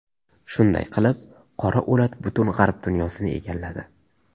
Shunday qilib, qora o‘lat butun g‘arb dunyosini egalladi.